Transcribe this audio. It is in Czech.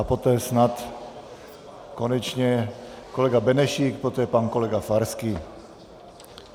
A poté snad konečně kolega Benešík, poté pan kolega Farský.